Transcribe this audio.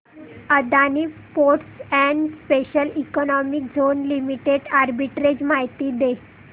Adani ports and special economic zone limited arbitrage माहिती दे